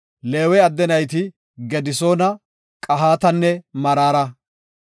Leewe adde nayti Gedisoona, Qahatanne Maraara.